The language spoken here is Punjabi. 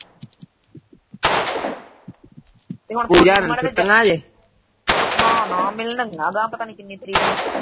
ਨਾ ਨਾ ਹੁਣ ਪਤਾ ਨੀ ਕਿੰਨੀ ਤਰੀਕ ਨੂੰ ਪੂਜਾ ਹੋਣਾ ਨੂੰ ਛੁੱਟੀਆਂ ਜੇ ਨਾ ਨਾ ਮਿਲਣੀਆਂ ਐ ਪਤਾ ਨਹੀਂ ਕਿੰਨੀ ਤਰੀਕ ਨੂੰ